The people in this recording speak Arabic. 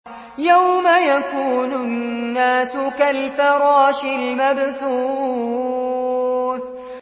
يَوْمَ يَكُونُ النَّاسُ كَالْفَرَاشِ الْمَبْثُوثِ